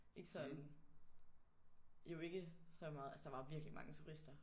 Ikke sådan jo ikke så altså der var virkelig mange turister